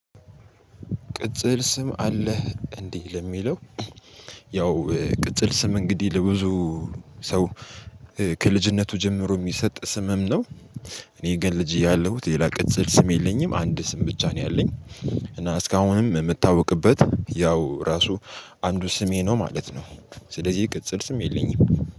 ቅጽል ስም አለህ እንዴ? ለሚለው ያው ቅጽል ስም እንግዲህ ለብዙ ሰው ከልጅነቱ ጀምሮ እሚሰጥ ስምም ነው። እኔ ግን ልጅ ያለሁት ሌላ ቅጽል ስም የለኝም አንድ ስም ብቻ ነው ያለኝ። እና እስካሁንም እምታወቅበት ያው ራሱ አንዱ ስሜ ነው ማለት ነው። ስለዚህ ቅጽል ስም የለኝም።